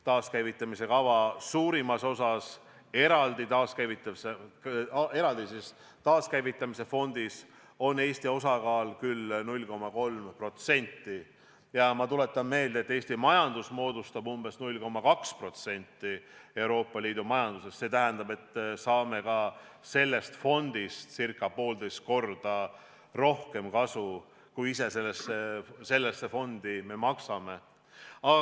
Taaskäivitamise kava suurimas osas, eraldi taaskäivitamise fondis, on Eesti osakaal 0,3% ja ma tuletan meelde, et Eesti majandus moodustab umbes 0,2% Euroopa Liidu majandusest, see tähendab, et me saame sellest fondist ca 1,5 korda rohkem kasu, kui ise sellesse maksame.